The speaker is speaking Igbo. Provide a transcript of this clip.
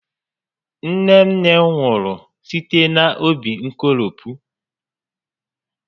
Nne nne m nwụrụ site n'óbí nkolopu